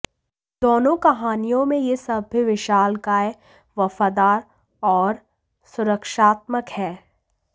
दोनों कहानियों में यह सभ्य विशालकाय वफादार और सुरक्षात्मक है